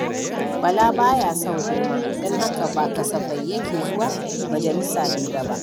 Bala ba ya son gulma, don haka ba kasafai yake zuwa majalisa hira ba.